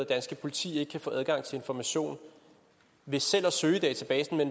dansk politi ikke få adgang til information ved selv at søge i databasen i